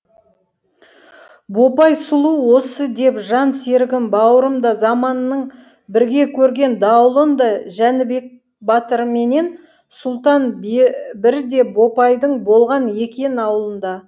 бопай сұлу осы деп жан серігім бауырым да заманның бірге көрген дауылын да жәнібек батырменен сұлтан бірде бопайдың болған екен ауылында